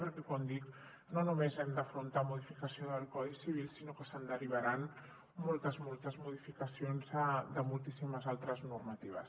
perquè com dic no només hem d’afrontar la modificació del codi civil sinó que se’n derivaran moltes modificacions de moltíssimes altres normatives